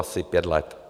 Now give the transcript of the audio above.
Asi pět let.